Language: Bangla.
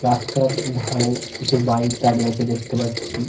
রাস্তার ধরে কিছু বাইক দাঁড়িয়ে আছে দেখতে পাচ্ছি।